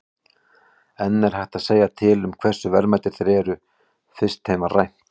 En er hægt að segja til um hversu verðmætir þeir eru, fyrst þeim var rænt?